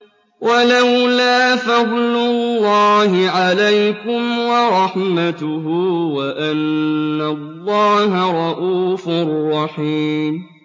وَلَوْلَا فَضْلُ اللَّهِ عَلَيْكُمْ وَرَحْمَتُهُ وَأَنَّ اللَّهَ رَءُوفٌ رَّحِيمٌ